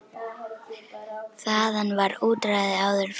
Þaðan var útræði áður fyrr.